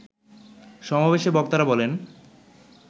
সমাবেশে বক্তারা বলেন